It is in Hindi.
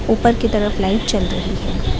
ऊपर की तरफ लाइट जल रही है।